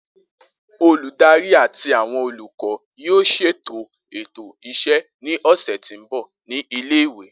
Oludari ati awọn olukọ yoo ṣeto eto iṣẹ ni ọsẹ ti nbọ ni ile-iwe.